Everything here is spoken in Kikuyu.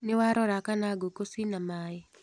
Nĩwarora kana ngũkũ cina maĩ.